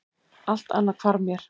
Allt annað hvarf mér.